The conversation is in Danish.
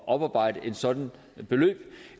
oparbejde et sådant beløb i